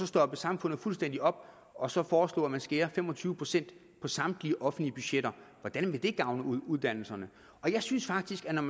stoppe samfundet fuldstændig op og så foreslå at man skærer fem og tyve procent på samtlige offentlige budgetter hvordan vil det gavne uddannelserne jeg synes faktisk at man